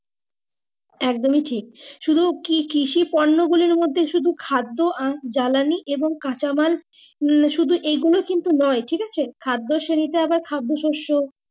একদমই টিক সুদু কি কৃষি কর্ম গুলির মর্ধে সুদু খাদ্য আ জ্বালানি এবং কাঁচা মাল মানে সুদু এইগুলি শুদু নয় টিকছে খাদ্য সরি তে আবার খাদ্য সোস